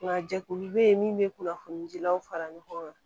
Nka jɛkulu bɛ yen min bɛ kunnafoni jilaw fara ɲɔgɔn kan